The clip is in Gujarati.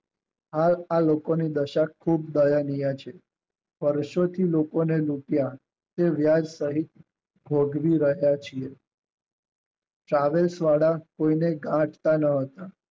આમ આ લોકો ની દશા ખુબ દયાની વાત છે વારસો થી લોકોને લુંટ્યા તે વાત કદી ભોગવી રહ્યા છે.